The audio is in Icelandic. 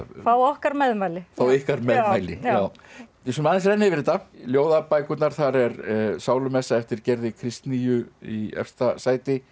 fá okkar meðmæli fá ykkar meðmæli við skulum aðeins renna yfir þetta ljóðabækurnar þar er sálumessa eftir Gerði Kristnýju í efsta sæti